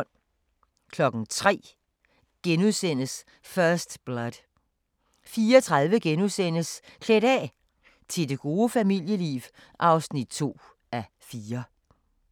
03:00: First Blood * 04:30: Klædt af – til det gode familieliv (2:4)*